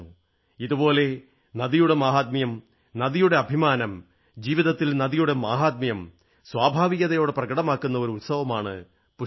ഇതുപോലെ നദിയുടെ മാഹാത്മ്യം നദിയുടെ അഭിമാനം ജീവിതത്തിൽ നദിയുടെ മാഹാത്മ്യം സ്വാഭാവികതയോടെ പ്രകടമാകുന്ന ഒരു ഉത്സവമാണ് പുഷ്കരം